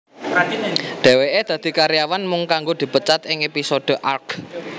Dheweke dadi karyawan mung kanggo dipecat ing episode Arrgh